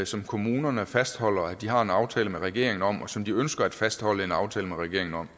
som kommunerne fastholder at de har en aftale med regeringen om og som de ønsker at fastholde en aftale med regeringen om